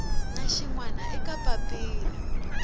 na xin wana eka papila